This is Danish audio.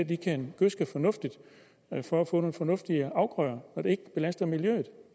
de kan gødske fornuftigt for at få nogle fornuftige afgrøder når det ikke belaster miljøet